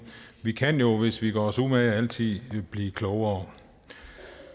vi kan jo hvis vi gør os umage altid blive klogere